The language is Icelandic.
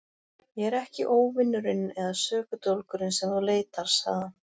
Ég er ekki óvinurinn eða sökudólgurinn sem þú leitar, sagði hann.